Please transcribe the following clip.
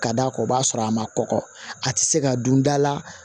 Ka d'a kan o b'a sɔrɔ a ma kɔkɔ a ti se ka dun da la